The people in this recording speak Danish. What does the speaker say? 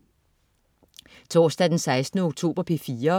Torsdag den 16. oktober - P4: